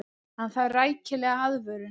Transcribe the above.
Hann þarf rækilega aðvörun.